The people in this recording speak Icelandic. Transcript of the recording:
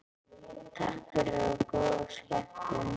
Takk fyrir og góða skemmtun.